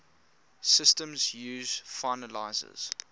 systems use finalizers